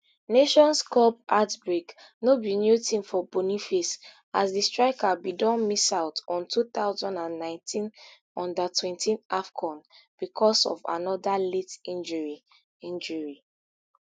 nations cup heartbreak no be new tin for boniface as di striker bin don miss out on two thousand and nineteen undertwenty afcon becos of anoda late injury injury